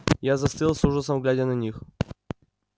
я застыл с ужасом глядя на них